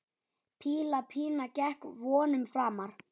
Píla Pína gekk vonum framar.